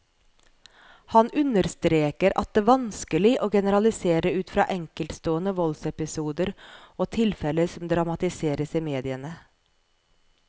Han understreker at det vanskelig å generalisere ut fra enkeltstående voldsepisoder og tilfeller som dramatiseres i mediene.